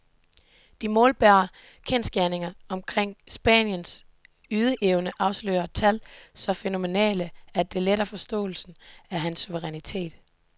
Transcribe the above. De målbare kendsgerninger omkring spanierens ydeevne afslører tal så fænomenale, at det letter forståelsen af hans suverænitet.